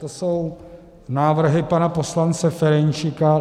To jsou návrhy pana poslance Ferjenčíka.